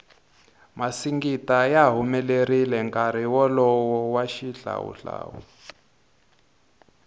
masingita ya humelerile nkarhi wolowo wa xihlawu hlawu